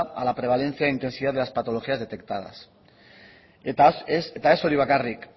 a la prevalencia e intensidad de las patologías detectadas eta ez hori bakarrik